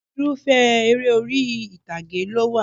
Irúfẹ́ eré orí ìtàgé ló wà